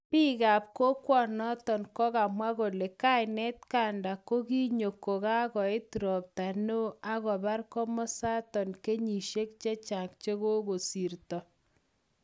Bik kap kokwonoton kokamwa kole kainet Ganda kokinyo kokakoit ropta neo akobar komosaton kenyishek chechang chekosirto.